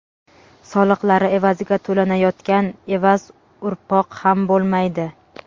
soliqlari evaziga to‘lanayotgan evaz urpoq ham bo‘lmaydi.